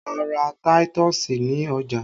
A ra táítọ̀sì ní ọjà